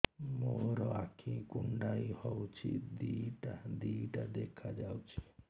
ମୋର ଆଖି କୁଣ୍ଡାଇ ହଉଛି ଦିଇଟା ଦିଇଟା ଦେଖା ଯାଉଛି